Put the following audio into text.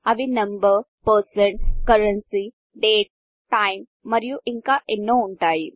అవి number percent currency date time మరియు ఇంకా ఎన్నో ఉంటాయి